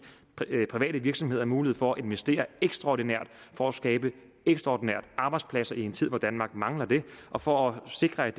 private virksomheder mulighed for at investere ekstraordinært for at skabe ekstraordinært arbejdspladser i en tid hvor danmark mangler dem og for at sikre at